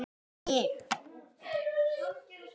Hún trúði alltaf á mig.